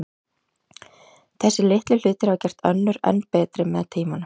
Þessir litlu hlutir hafa gert önnur enn betri með tímanum.